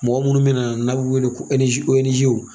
Mɔgɔ munnu bɛna yan n'a' b'u weele ko w